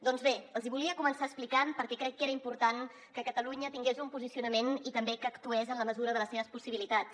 doncs bé els hi volia començar explicant per què crec que era important que catalunya tingués un posicionament i també que actués en la mesura de les seves possibilitats